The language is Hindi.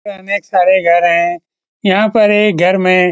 यहाँ अनेक सारे घर हैं यहाँ पर एक घर में --